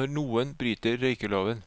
når noen bryter røykeloven.